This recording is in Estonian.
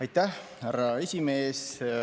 Aitäh, härra esimees!